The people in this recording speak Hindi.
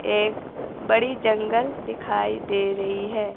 एक बड़ी जंगल दिखाई दे रही है।